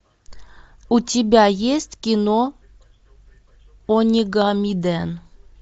у тебя есть кино онигамиден